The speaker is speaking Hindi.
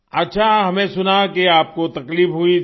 अच्छा हमें सुना कि आपको तकलीफ हुई थी